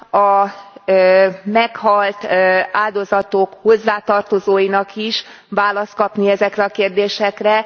van a meghalt áldozatok hozzátartozóinak is választ kapni ezekre a kérdésekre.